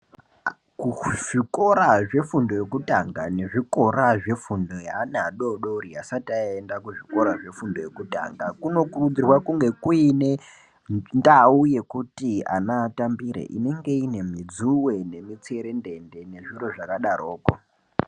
Kuzvikora zvefundo yekutanga nezvikora zvefundo yeana adoodori asati ayenda kuzvikoro zvefundo yekutanga kunokurudzirwa kunge kuine ndau yekuti ana atambire inenge ine midzuwe nemitserendende nezviro zvakadaroko.